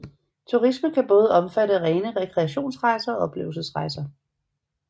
Turisme kan både omfatte rene rekreationsrejser og oplevelsesrejser